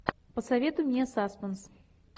посоветуй мне саспенс